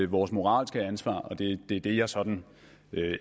vores moralske ansvar og det er det jeg sådan